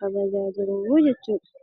kabajaa jiruu jechuudha.